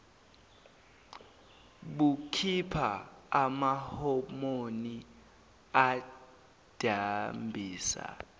bukhipha amahomoni adambisa